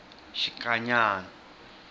xikanyana